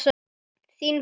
Þín Fanný.